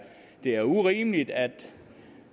det er urimeligt at